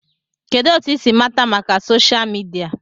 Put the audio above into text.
Kedụ etu I si mata maka soshal midia?